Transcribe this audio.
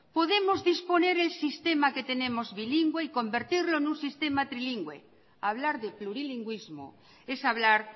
podemos disponer el sistema que tenemos bilingüe y convertirlo en un sistema trinlingüe hablar de plurilingüismo es hablar